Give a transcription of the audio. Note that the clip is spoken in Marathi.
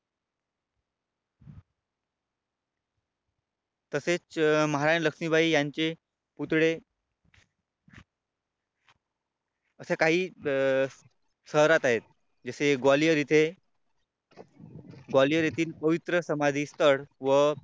तसेच महाराणी लक्ष्मीबाई यांचे पुतळे असे काही शहरात आहेत. जसे ग्वालियर इथे ग्वालियर येथील पवित्र समाधी स्थळ व